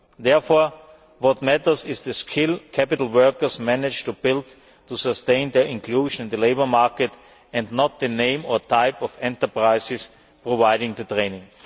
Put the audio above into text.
Therefore, what matters is the skill capital that workers manage to build to sustain their inclusion in the labour market, not the name or type of enterprises providing the training.